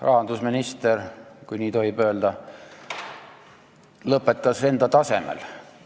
Rahandusminister, kui nii tohib öelda, lõpetas enda tasemel.